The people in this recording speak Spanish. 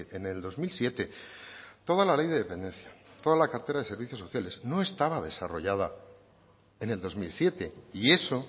en el dos mil siete toda la ley de dependencia toda la cartera de servicios sociales no estaba desarrollada en el dos mil siete y eso